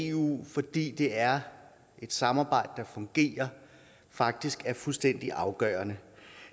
eu fordi det er et samarbejde der fungerer faktisk er fuldstændig afgørende